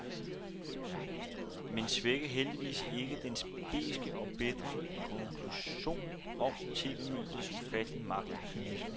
Men svækker heldigvis ikke dens beske og bitre konklusion om TVmediets ufattelige magt og kynisme.